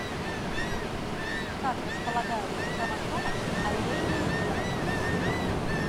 как располагаются в хромосомах аллельные гены